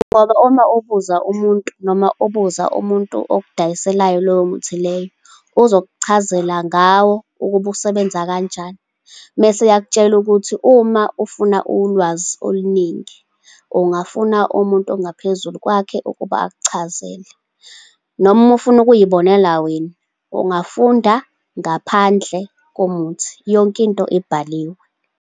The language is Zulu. Ngoba uma ubuza umuntu, noma ubuza umuntu okudayiselayo lowo muthi leyo, uzokuchazela ngawo ukuba usebenza kanjani. Mese yakutshela ukuthi uma ufuna ulwazi oluningi, ungafuna umuntu ongaphezulu kwakhe ukuba akuchazele. Noma uma ufuna ukuy'bonela wena, ungafunda ngaphandle komuthi. Yonke into ibhaliwe.